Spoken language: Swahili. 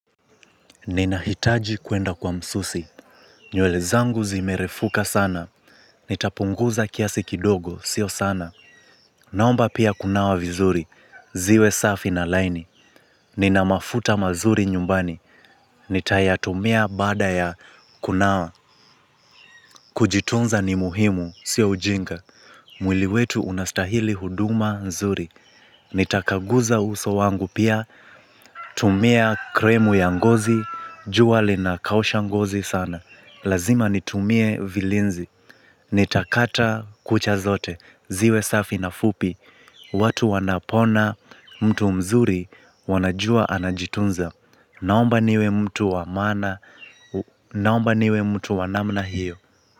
Nina hitaji kwenda kwa msusi. Nywele zangu zimerefuka sana. Nitapunguza kiasi kidogo. Sio sana. Naomba pia kunawa vizuri. Ziwe safi na laini. Nina mafuta mazuri nyumbani. Nitayatumia baada ya kunawa. Kujitunza ni muhimu. Sio ujinga. Mwili wetu unastahili huduma nzuri, nitakaguza uso wangu pia, tumia kremu ya ngozi, jua lina kausha ngozi sana, lazima nitumie vilinzi, nitakata kucha zote, ziwe safi na fupi, watu wanapoona mtu mzuri wanajua anajitunza, naomba niwe mtu wa maana, naomba niwe mtu wanamna hiyo.